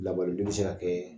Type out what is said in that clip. Lakɔliden be se ka kɛɛ